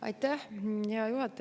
Aitäh, hea juhataja!